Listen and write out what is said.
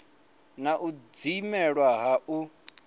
na u dzimelwa ha u